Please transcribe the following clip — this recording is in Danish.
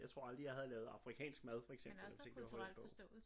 Jeg tror aldrig jeg havde lavet afrikansk mad for eksempel hvis ikke det var for den bog